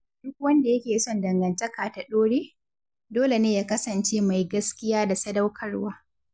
Duk wanda yake son dangantaka ta ɗore, dole ne ya kasance mai gaskiya da sadaukarwa.